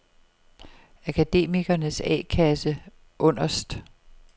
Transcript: Akademikernes A-Kasse Underst